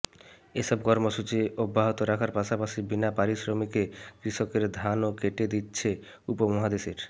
এসব কর্মসূচি অব্যাহত রাখার পাশাপাশি বিনাপারিশ্রমিকে কৃষকের ধানও কেটে দিচ্ছে উপমহাদেশের